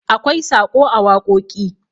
akwai Saƙo a wakoki